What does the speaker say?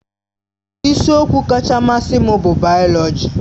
Isiokwu kacha mmasị m bụ bayoloji.